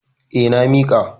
Eh, na miƙa.